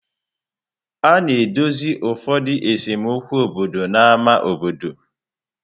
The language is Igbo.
A na-edozi ụfọdụ esemokwu obodo n'ámá obodo.